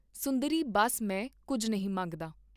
ਸੁੰਦਰੀ ਬੱਸ ਮੈਂ ਕੁੱਝ ਨਹੀਂ ਮੰਗਦਾ।